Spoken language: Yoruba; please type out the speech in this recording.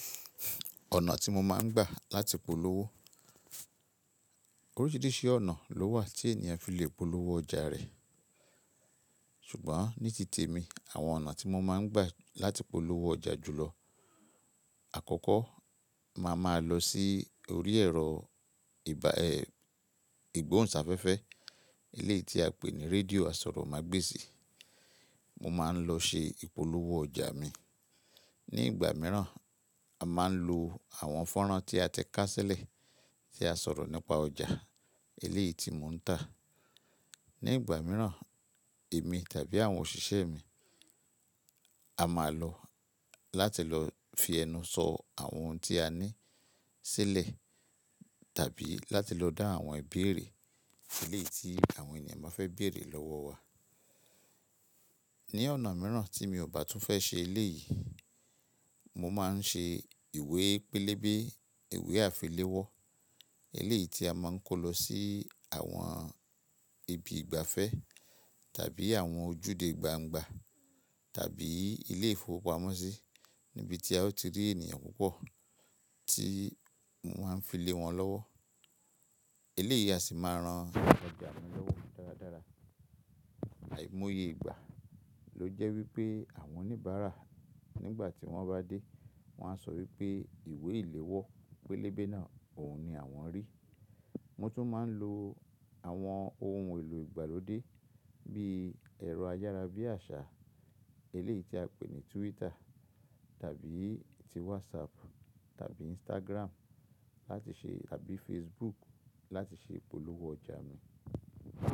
Ọ̀nà tí mo máa ń gbà láti polówó. Oríṣiríṣi ọ̀nà ló wà tí ènìyàn fi lè polówó ọjà rẹ̀. Ṣùgbọ́n ní tìte mi, àwọn ọ̀nà tí mo máa ń gbà láti polówó ọjà jùlọ. Àkọ́kọ́, màá máa lọ sí orí ẹ̀rọ ìba, ẹ, ìgbóhùnsáfẹ́fẹ́ eléyìí tí a pè ní radio àsọ̀rọ̀mágbèsì. Mo máa ń lọ ṣe ìpolówó ọjà mi. Ní ìgbà mìíràn, a máa ń lo àwọn fọ́nrán tí a ti ká sílẹ̀ tí a sọ̀rọ̀ nípa ọjà eléyìí tí mò ń tà. Ní ìgbà mìíràn, èmi tàbí àwọn òṣìṣẹ́ mi a máa lọ láti lọ fi ẹnu sọ àwọn ohun tí a ní sílẹ̀ tàbí láti lọ dá àwọn ìbéèrè eléyìí tí àwọn ènìyàn bá fẹ́ béèrè lọ́wọ́ wa. Ní ọ̀nà mìíràn tí mi ò bá tún fẹ́ ṣe eléyìí, mo máa ń ṣe ìwé pélébé, ìwé àfiléwọ́ eléyìí tí a máa ń kó lọ sí àwọn ibi ìgbafẹ́ tàbí àwọn ojúde gbangba tàbí ilé ìfowópamọ́sí níbi tí a ó ti rí ènìyàn púpọ̀ tí mo ma n fi lé wọn lọ́wọ́. Eléyìí a sì máa ran ọjà mi lọ́wọ́ dáradára. Àìmoyé ìgbà ló jẹ́ wípé àwọn oníbàárà nígbà tí wọ́n bá dé, wọ́n á sọ wípé ìwé ìléwọ́ pélébé náà òun ni àwọn rí. Mo tún máa ń lo àwọn ohun èlò ìgbàlódé bí ẹ̀rọ ayára bí àṣá eléyìí tí a pè ní Twitter tàbí ti WhatsApp tàbí Instagram láti ṣe tàbí Facebook láti ṣe ìpolówó ọjà mi.